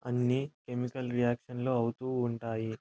అన్ని chemical reaction లు అవుతూ ఉంటాయి.